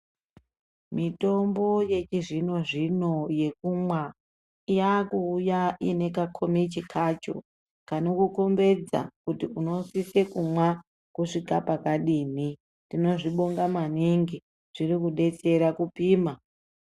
Mitombo yechizvino-zvino yekumwa yakuuya ine kakomichi kacho kanokukombidza kuti unosise kumwa kusvike pakadini. Tinozvibonga maningi, zvirikudetsera kupima.